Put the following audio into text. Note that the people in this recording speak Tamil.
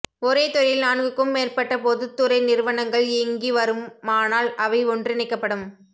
ஒரே துறையில் நான்குக்கும் மேற்பட்ட பொதுத்துறை நிறுவனங்கள் இங்கி வருன்மானால் அவை ஒன்றிணைக்கப்படும்